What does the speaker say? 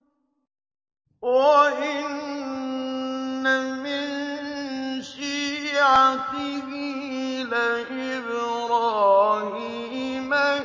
۞ وَإِنَّ مِن شِيعَتِهِ لَإِبْرَاهِيمَ